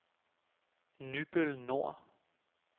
Nybøl Nor